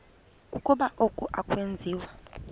ukuba oku akwenziwa